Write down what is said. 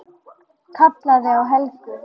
Kallaði á Helgu.